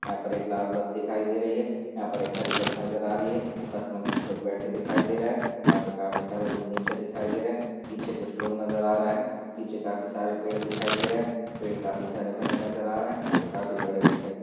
यहां पर एक लाल बस दिखायी दे रही हैं। यहां पर एक हरी बस नजर आ रही हैं बस मे कुछ लोग बैठे दिखायी दे रहा हैं यहा पे काफी सारे लोग नीचे दिखायी दे रहे हैं पीछे कुछ लोग नजर आ रहे हैं पीछे काफी सारे पेड़ दिखायी दे रहे हैं पेड़ काफी हरे-भरे नजर आ रहे हैं पेड़ काफी बड़े दिखायी दे--